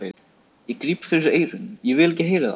Ég gríp fyrir eyrun, ég vil ekki heyra það!